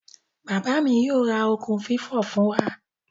Baba mi yoo ra okun fifo fun wa.